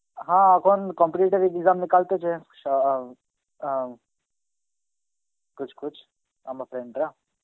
হা এখন competitive exam Hindi তেছে স~ অ্যাঁ অ্যাঁ Hindi আমার friend রা.